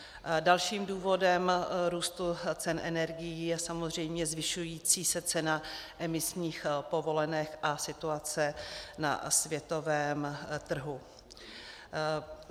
Dalším důvodem růstu cen energií je samozřejmě zvyšující se cena emisních povolenek a situace na světovém trhu.